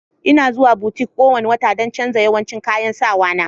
Ina zuwa butik kowane wata don canjin yawancin kayan sawa na.